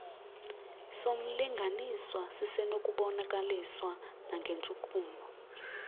somlinganiswa sisenokubonakaliswa nangentshukumo